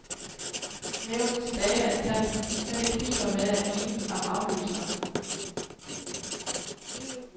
Nævnenes dage er talte, men det kniber med at enes om afløseren.